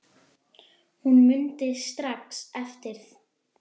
Hún mundi strax eftir